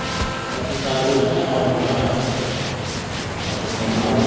এতো চাষ বাস আমার মনে হয়না হয়তো এতো